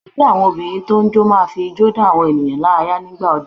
Ẹgbẹ́ àwọn Obìnrin tó n jó máa fi ijó dá àwọn ènìyàn lára yá nígbà ọdún